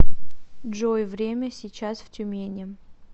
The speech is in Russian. джой время сейчас в тюмени